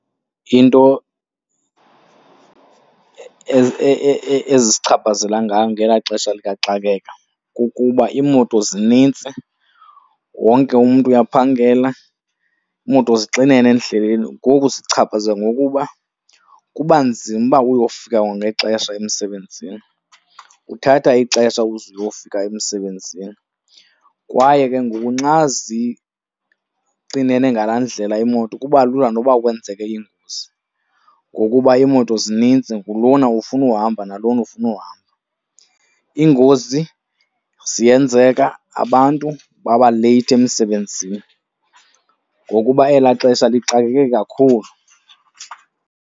Into ezisichaphazela ngayo ngela xesha likaxakeka kukuba iimoto zinintsi, wonke umntu uyaphangela, iimoto zixinene endleleni. Ngoku sichaphazelwa ngokuba kuba nzima ukuba uyofika kwangexesha emsebenzini, uthatha ixesha ukuze uyofika emsebenzini. Kwaye ke ngoku nxa zixinene ngala ndlela iimoto kuba lula noba kwenzeke ingozi ngokuba iimoto zininzi, ngulona ufuna uhamba, nalona ufuna uhamba. Iingozi ziyenzeka, abantu baba leyithi emsebenzini ngokuba ela xesha lixakeke kakhulu.